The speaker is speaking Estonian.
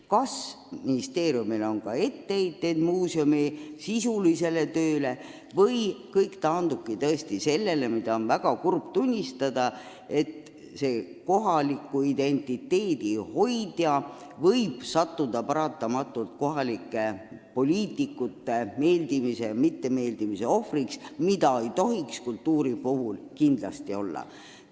Kas ministeeriumil on etteheiteid muusemi sisulisele tööle või taandub kõik tõesti sellele – mida on väga kurb tunnistada –, et sellest kohaliku identiteedi hoidjast on saanud kohalike poliitikutele mittemeeldimise ohver, mida ei tohiks kultuuri puhul kindlasti olla?